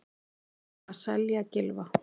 Urðum að selja Gylfa